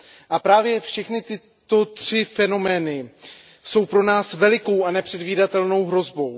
A právě všechny tyto tři fenomény jsou pro nás velikou a nepředvídatelnou hrozbou.